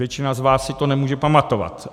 Většina z vás si to nemůže pamatovat.